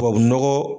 Tubabu nɔgɔ